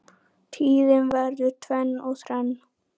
Tíðin verður tvenn og þrenn